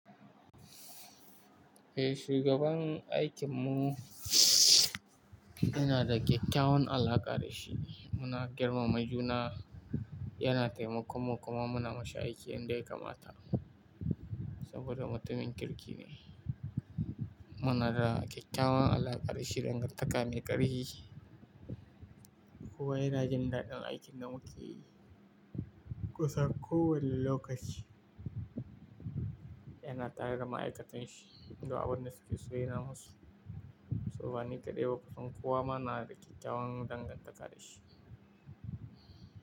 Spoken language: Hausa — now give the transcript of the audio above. Eh, shugaban aikinmu muna da kyakkyawan alaka da shi. Muna girmama juna, yana taimako kuma muna mashi aiki yanda ya kamata saboda mutumin kirki ne. Muna da kyakkyawan alaka da shi dangantaka mai ƙarfi. Kowa yana jin daɗin aikin da muke yi kusan kowane lokaci. Yana tare da ma'aikatan shi, du abinda suke so yana masu. Muna da kyakkyawan alaka da shi dangantaka mai ƙarfi.